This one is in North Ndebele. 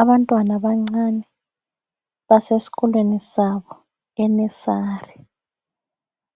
Abantwana abancane basesikolweni sabo enursery,